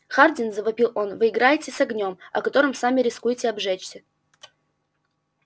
хардин завопил он вы играете с огнём о который сами рискуете обжечься